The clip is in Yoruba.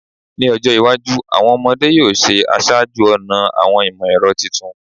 Ni ojo iwaju, awọn ọmọde yoo ṣe aṣáájú-ọnà awọn imọ-ẹrọ titun